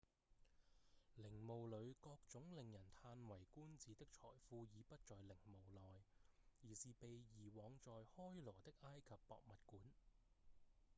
陵墓裡各種令人歎為觀止的財富已不在陵墓內而是被移往在開羅的埃及博物館